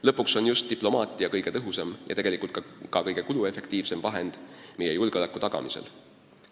Lõpuks on just diplomaatia kõige tõhusam ja tegelikult ka kõige kuluefektiivsem vahend meie julgeoleku tagamisel.